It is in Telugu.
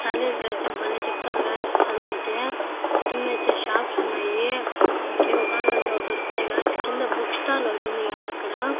కాలేజీ లో అయితే భలే చెప్తారు గాయ్స్ చదువైతే కిందైతే షాప్స్ ఉన్నాయి మీకు ఏవి కావాలంటే అవి దొరుకుతాయి గాయ్స్ కింద బుక్ స్టాల్ ఒకటుంది గాయ్స్ అక్కడ --